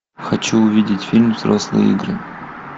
хочу увидеть фильм взрослые игры